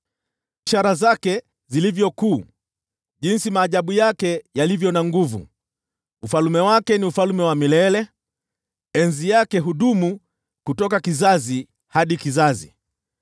Ishara zake ni kuu aje, na maajabu yake yana nguvu aje! Ufalme wake ni ufalme wa milele; enzi yake hudumu kutoka kizazi hadi kizazi.